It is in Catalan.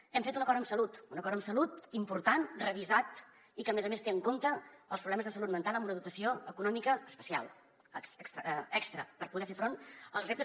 hem fet un acord amb salut un acord amb salut important revisat i que a més a més té en compte els problemes de salut mental amb una dotació econòmica especial extra per poder fer front als reptes